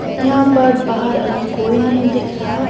यहां पर बाहर अभी कोई नहीं दिख रहा।